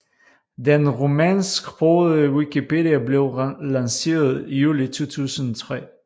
Den rumænsksprogede wikipedia blev lanceret juli 2003